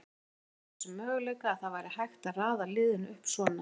Maður vissi af þessum möguleika, að það væri hægt að raða liðinu upp svona.